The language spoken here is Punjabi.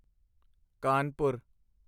ਕਾਨਪੁਰ